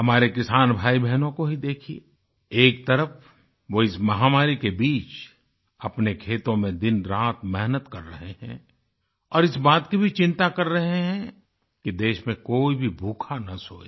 हमारे किसान भाईबहनों को ही देखिये एक तरफ वो इस महामारी के बीच अपने खेतों में दिनरात मेहनत कर रहे हैं और इस बात की भी चिंता कर रहे हैं कि देश में कोई भी भूखा ना सोये